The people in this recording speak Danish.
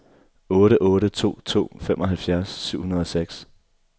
otte otte to to femoghalvfjerds syv hundrede og seks